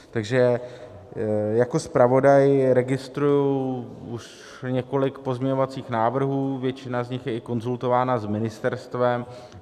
Takže jako zpravodaj registruji už několik pozměňovacích návrhů, většina z nich je i konzultována s ministerstvem.